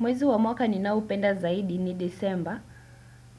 Mwezi wa mwaka ninao upenda zaidi ni december